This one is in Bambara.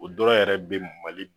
O dɔrɔn yɛrɛ be mali